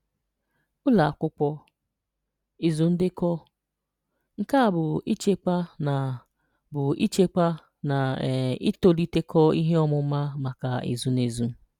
Ụlọ Akwụkwọ: Ịzụ Ndekọ: Nke a bụ ịchekwa na bụ ịchekwa na um ịtọlitekọ ihe ọmụma maka ezu na ezu.